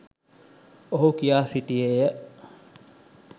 ඔහු කියා සිටියේය.